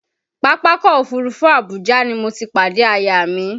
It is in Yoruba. Pápákọ̀ Òfurufú Abuja ni mo ti pàdé aya mi